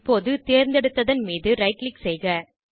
இப்போது தேர்ந்தெடுத்தன் மீது ரைட் க்ளிக் செய்க